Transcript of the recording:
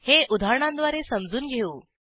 हे उदाहरणांद्वारे समजून घेऊ